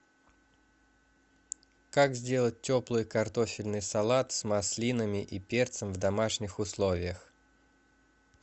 как сделать теплый картофельный салат с маслинами и перцем в домашних условиях